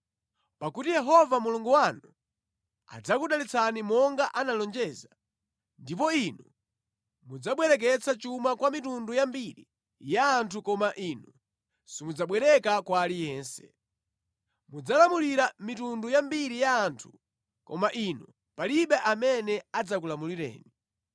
Pakuti Yehova Mulungu wanu adzakudalitsani monga analonjeza, ndipo inu mudzabwereketsa chuma kwa mitundu yambiri ya anthu koma inu simudzabwereka kwa aliyense. Mudzalamulira mitundu yambiri ya anthu koma inuyo palibe amene adzakulamulireni.